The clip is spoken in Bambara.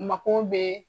Mako bɛ